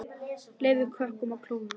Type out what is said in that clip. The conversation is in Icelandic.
Leyfið kökunum að kólna.